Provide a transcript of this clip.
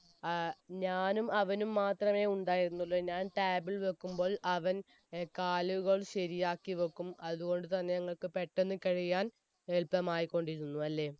ഏർ ഞാനും അവനും മാത്രമേ ഉണ്ടായിരുന്നു എ ഞാൻ table വെക്കുംപ്പോൾ അവൻ കാലുകൾ ശരിയാക്കി വെക്കും അതുകൊണ്ട് തന്നെ ഞങ്ങൾക്ക് പെട്ടെന്ന് കഴിയാൻ എളുപ്പമായികൊണ്ടിരുന്നു